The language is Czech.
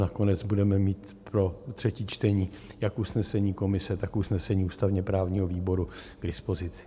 Nakonec budeme mít pro třetí čtení jak usnesení komise, tak usnesení ústavně-právního výboru k dispozici.